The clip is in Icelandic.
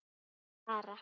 Þín, Sara.